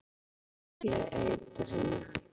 Flestir smygli eitrinu.